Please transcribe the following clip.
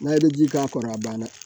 N'a ye ji k'a kɔrɔ a banna